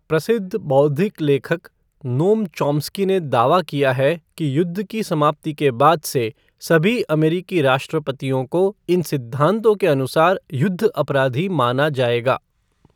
प्रसिद्ध बौद्धिक लेखक, नोम चॉम्स्की ने दावा किया है कि युद्ध की समाप्ति के बाद से सभी अमेरिकी राष्ट्रपतियों को इन सिद्धांतों के अनुसार युद्ध अपराधी माना जाएगा।